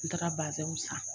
N taara san.